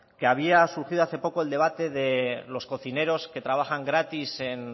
que había surgido hace poco el debate de los cocineros que trabajan gratis en